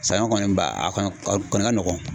Sanɲɔ kɔni ba a kɔni a kɔni ka nɔgɔn.